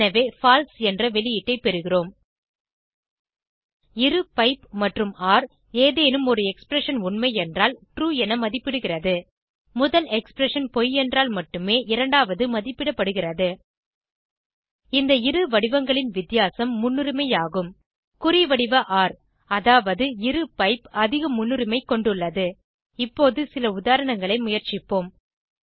எனவே பால்சே என்ற வெளியீட்டை பெறுகிறோம் இரு பைப் மற்றும் ஒர் ஏதேனும் ஒரு எக்ஸ்பிரஷன் உண்மையென்றாலும் ட்ரூ என மதிப்பிடுகிறது முதல் எக்ஸ்பிரஷன் பொய் என்றால் மட்டுமே இரண்டாவது மதிப்பிடப்படுகிறது இந்த இரு வடிவங்களின் வித்தியாசம் முன்னுரிமை ஆகும் குறிவடிவ ஒர் அதாவது இரு பைப் அதிக முன்னுரிமை கொண்டுள்ளது இப்போது சில உதாரணங்களை முயற்சிப்போம்